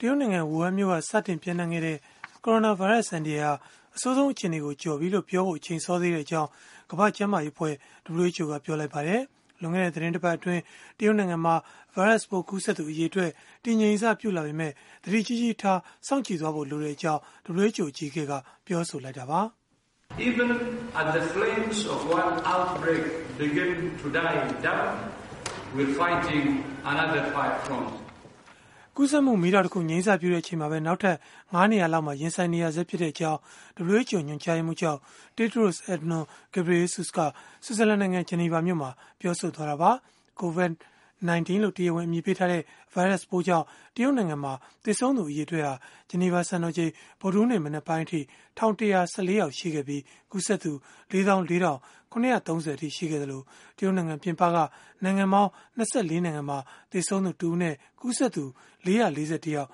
တရုတ်နိုင်ငံ ဝူဟန်မြို့က စတင်ပျံ့နှံ့ခဲ့တဲ့ ကိုရိုနာဗိုင်းရပ်စ် အန္တရာယ်ဟာ အဆိုးဆုံး အခြေအနေကို ကျော်လွှားပြီလို့ ပြောဖို့ အချိန်စောသေးကြောင်း ကမ္ဘာ့ကျန်းမာရေးအဖွဲ့ (WHO) ကပြောလိုက်ပါတယ်။ လွန်ခဲ့တဲ့ သီတင်းပတ်အတွင်း တရုတ်နိုင်ငံမှာ ဗိုင်းရပ်စ်ပိုး ကူးစက်သူ အရေအတွက် တည်ငြိမ်စပြုလာပေမဲ့ သတိကြီးကြီးထား စောင့်ကြည့်သွားဖို့ လိုတဲ့အကြောင်း WHO အကြီးအကဲက ပြောဆိုလိုက်တာပါ။ ကူးစက်မှု မီးတောက်တခု ငြိမ်းစပြုတဲ့အချိန်မှာပဲ နောက်ထပ် ၅ နေရာလောက်မှာ ရင်ဆိုင်နေရဆဲဖြစ်ကြောင်း WHO ညွှန်ကြားရေးမှူးချုပ် Tedros Adhanom Ghebreyesus က ဆွစ်ဇာလန်နိုင်ငံ ဂျနီဗာမြို့မှာ ပြောဆိုလိုက်တာပါ။ COVID-19 လို့ တရားဝင် အမည်ပေးထားတဲ့ ဗိုင်းရပ်စ်ပိုးကြောင့် တရုတ်နိုင်ငံမှာ သေဆုံးသူ အရေအတွက်ဟာ ဂျနီဗာစံတော်ချိန် ဗုဒ္ဓဟူးနေ့မနက်ပိုင်းအထိ ၁,၁၁၄ ယောက်ရှိခဲ့ပြီး၊ ကူးစက်သူ ၄၄,၇၃၀ အထိ ရှိခဲ့သလို၊ တရုတ်နိုင်ငံ ပြင်ပက နိုင်ငံပေါင်း ၂၄ နိုင်ငံမှာ သေဆုံးသူတစ်ဦးနဲ့ ကူးစက်သူ ၄၄၁ ယောက်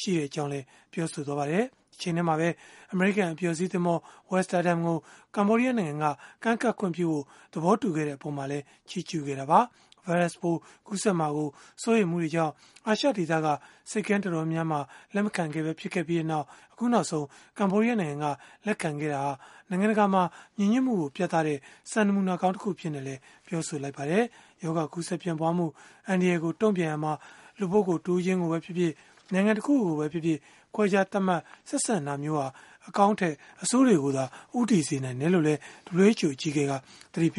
ရှိကြောင်းလည်း ပြောပါတယ်။ တချိန်တည်းမှာပဲ အမေရိကန် အပျော်စီးသင်္ဘော Westerdam ကို ကမ္ဘောဒီးယားနိုင်ငံက ကမ်းကပ်ခွင့်ပြုဖို့ သဘောတူခဲ့တဲ့ အပေါ်မှာလည်း ချီးကျုးခဲ့တာပါ။ ဗိုင်းရပ်စ်ပိုး ကူးစက်မှာ စိုးရိမ်မှုတွေကြောင့် အာရှဒေသက ဆိပ်ကမ်း တော်တော်များများက လက်မခံခဲ့ပဲ ဖြစ်ခဲ့ပြီး အခုနောက်ဆုံး ကမ္ဘောဒီးယားနိုင်ငံက လက်ခံခဲ့တာဟာ နိုင်ငံတကာမှာ ညီညွတ်မှုကို ပြသတဲ့ နမူနာကောင်းတခု ဖြစ်ကြောင်းလည်း ပြောပါတယ်။ ရောဂါကူးစက်ပျံ့ပွားမှု အန္တရာယ်ကို တုံ့ပြန်ရာမှာ လူပုဂ္ဂိုလ် တဦးချင်းကိုပဲဖြစ်ဖြစ်၊ နိုင်ငံတခုခုကိုပဲဖြစ်ဖြစ် ခွဲခြားသတ်မှတ် ဆက်ဆံတာမျိုးဟာ အကောင်းထက် အဆိုးတွေကိုသာ ဦးတည်စေနိုင်တယ်လို့လည်း WHO အကြီးအကဲက သတိပေ